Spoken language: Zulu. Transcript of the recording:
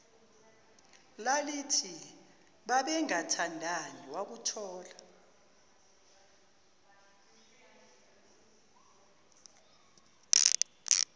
lalithi babengathandani wakuthola